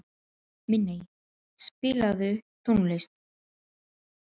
Minney, spilaðu tónlist.